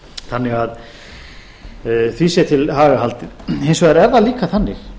þannig að því sé til haga haldið hins vegar er það líka þannig